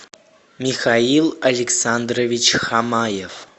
михаил александрович хамаев